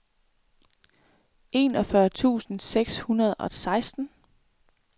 enogfyrre tusind seks hundrede og seksten